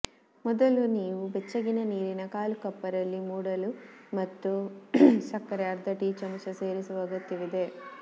ಮೊದಲ ನೀವು ಬೆಚ್ಚಗಿನ ನೀರಿನ ಕಾಲು ಕಪ್ ರಲ್ಲಿ ಮೂಡಲು ಮತ್ತು ಸಕ್ಕರೆ ಅರ್ಧ ಟೀಚಮಚ ಸೇರಿಸುವ ಅಗತ್ಯವಿದೆ